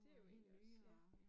Det jo egentlig også ja